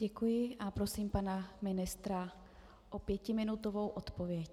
Děkuji a prosím pana ministra o pětiminutovou odpověď.